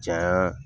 Janya